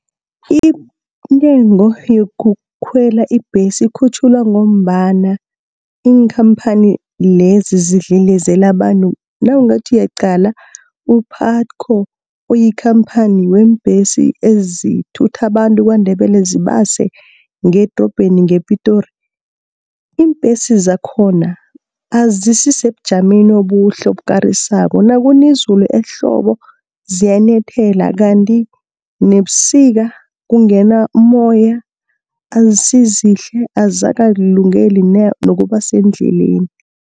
Intengo yokukhwela ibhesi ikhutjhulwa ngombana iinkhampani lezi, zidlelezela abantu. Nawungathi uyaqala u-PUTCO uyikhamphani yeembhesi ezithutha bantu KwaNdebele zibase ngedorobheni ngePitori. Iimbhesi zakhona azisisebujameni obuhle obukarisako, nakuna izulu ehlobo ziyanethela. Kanti nebusika kungena umoya azisizihle azikakulungeli nokuba sendleleni.